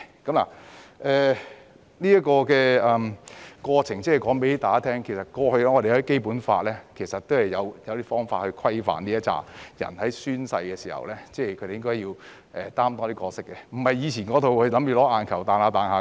我提出上述過程是要告訴大家，過去《基本法》是有方法規範該等人士在宣誓時應該擔當的角色，而不是跳跳彈彈只為"吸引眼球"。